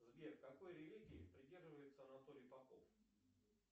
сбер какой религии придерживается анатолий попов